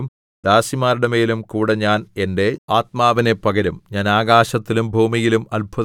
ആ നാളുകളിൽ ദാസന്മാരുടെമേലും ദാസിമാരുടെമേലും കൂടെ ഞാൻ എന്റെ ആത്മാവിനെ പകരും